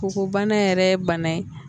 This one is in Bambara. Kɔgɔ bana yɛrɛ ye bana ye